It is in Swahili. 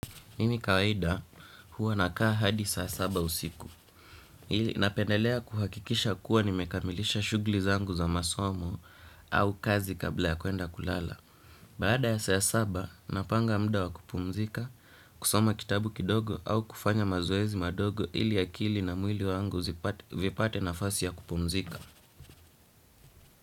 Mimi kawaida huwa nakaa hadi saa saba usiku, napendelea kuhakikisha kuwa nimekamilisha shughuli zangu za masomo au kazi kabla ya kwenda kulala. Baada ya saa saba, napanga muda wa kupumzika kusoma kitabu kidogo au kufanya mazoezi madogo ili akili na mwili wangu vipate nafasi ya kupumzika.